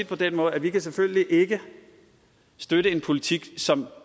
på den måde at vi selvfølgelig ikke kan støtte en politik som